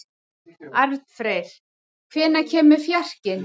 Arnfreyr, hvenær kemur fjarkinn?